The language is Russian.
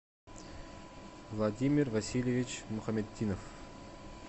владимир васильевич мухаметдинов